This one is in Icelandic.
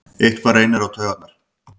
Eitthvað reynir á taugarnar